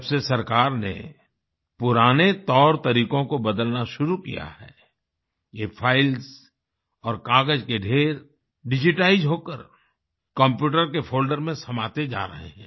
जब से सरकार ने पुराने तौरतरीकों को बदलना शुरु किया है ये फाइल्स और कागज के ढ़ेर डिजिटाइज होकर कम्प्यूटर के फोल्डर में समाते जा रहे हैं